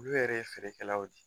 Olu yɛrɛ ye feerekɛlaw ye.